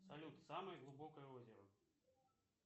салют самое глубокое озеро